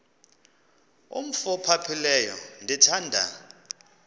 umf ophaphileyo ndithanda